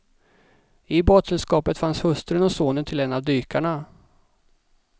I badsällskapet fanns hustrun och sonen till en av dykarna.